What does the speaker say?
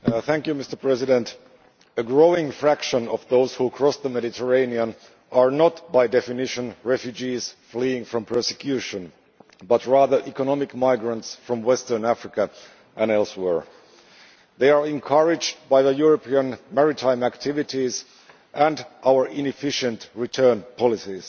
Mr President, a growing proportion of those who cross the Mediterranean are not, by definition, refugees fleeing from persecution, but rather economic migrants from Western Africa and elsewhere. They are encouraged by European maritime activities and our inefficient return policies.